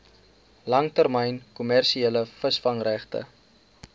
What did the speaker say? langtermyn kommersiële visvangregte